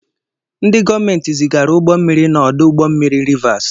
Ndị gọọmenti zigara ụgbọ mmiri n'ọdụ ụgbọ mmiri Rịvas.